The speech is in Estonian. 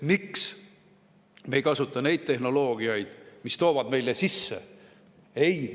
Miks me ei kasuta neid tehnoloogiaid, mis toovad meile sisse?